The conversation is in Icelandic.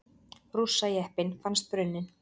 Rússajeppinn fannst brunninn